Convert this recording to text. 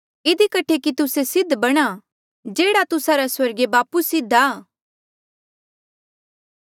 इधी कठे कि तुस्से सिद्ध बणा जेह्ड़ा तुस्सा रा स्वर्गीय बापू सिद्ध आ